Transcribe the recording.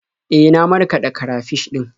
E, na markaɗa karafish ɗin.